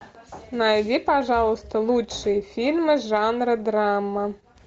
найди пожалуйста лучшие фильмы жанра драма